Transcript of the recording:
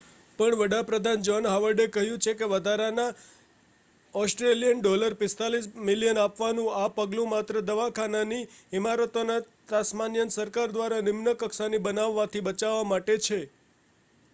પણ વડા પ્રધાન જૉહ્ન હાવર્ડે કહ્યું છે કે વધારાના aud$45 મિલિયન આપવાનું આ પગલું માત્ર દવાખાનાની ઇમારતોને તાસ્માનિયન સરકાર દ્વારા નિમ્ન કક્ષાની બનાવવાથી બચાવવા માટે છે